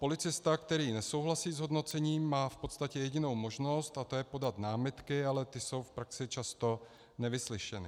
Policista, který nesouhlasí s hodnocením, má v podstatě jedinou možnost, a to je podat námitky, ale ty jsou v praxi často nevyslyšeny.